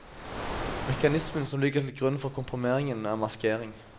Mekanismen som ligger til grunn for komprimeringen er maskering.